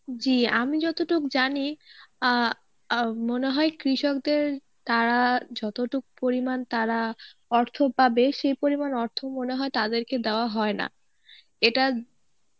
জী আমি যতটুক জানি আ আহ মনে হয় কৃষকদের তারা যতটুক পরিমান তারা অর্থ পাবে সেই পরিমাণ অর্থ মনে হয় তাদেরকে দেওয়া হয় না এটা